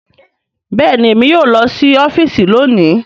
Bẹẹni, Èmí yóò lọ si ọfiisi lóni